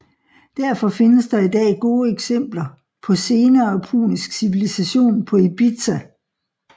Derfor findes der i dag gode eksempler på senere punisk civilisation på Ibizia